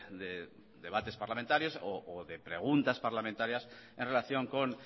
de debates parlamentarios o de preguntas parlamentarias en relación con